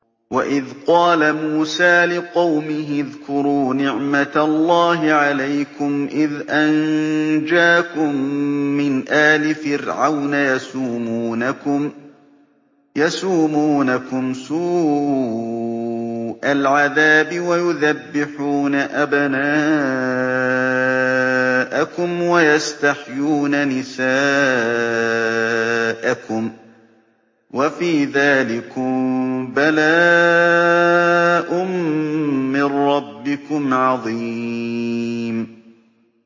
وَإِذْ قَالَ مُوسَىٰ لِقَوْمِهِ اذْكُرُوا نِعْمَةَ اللَّهِ عَلَيْكُمْ إِذْ أَنجَاكُم مِّنْ آلِ فِرْعَوْنَ يَسُومُونَكُمْ سُوءَ الْعَذَابِ وَيُذَبِّحُونَ أَبْنَاءَكُمْ وَيَسْتَحْيُونَ نِسَاءَكُمْ ۚ وَفِي ذَٰلِكُم بَلَاءٌ مِّن رَّبِّكُمْ عَظِيمٌ